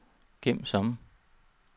gem som